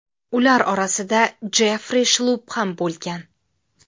Ular orasida Jeffri Shlupp ham bo‘lgan.